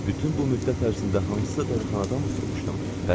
Bütün bu müddət ərzində hansısa dəlixanada oturmuşdum?